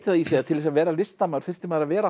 í sig að til þess að vera listamaður þyrfti maður að vera